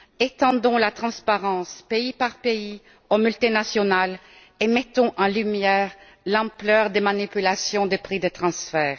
Étendons la transparence, pays par pays, aux multinationales et mettons en lumière l'ampleur des manipulations des prix des transferts.